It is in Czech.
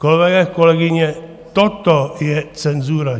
Kolegové, kolegyně, toto je cenzura.